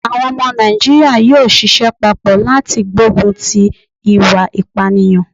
Àwọn omo Nàìjíríà yóò sisẹ́ papọ̀ láti gbógun ti ìwà ìpànìyàn